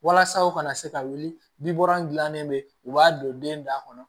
Walasa u kana se ka wuli bɛ u b'a don den da kɔnɔ